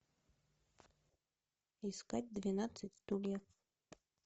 искать двенадцать стульев